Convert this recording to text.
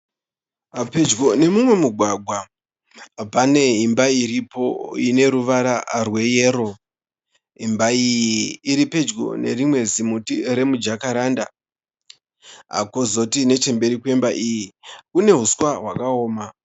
Pedyo nemumwe mugwagwa, pane imba iripo ineruvara rweyero. Imba iyi iripedyo nerimwe zimuti remujakaranda. Kozoti nechemberi kwemba iyi, kune huswa hwakaoma.